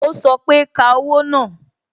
o sọ pé "Ka owó náà"